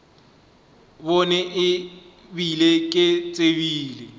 bone e bile ke tsebile